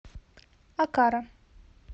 окара